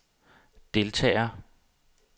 deltager